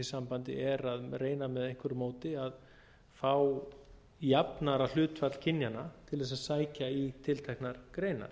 sambandi er að reyna með einhverju móti að fá jafnara hlutfall kynjanna til þess að sækja í tilteknar greinar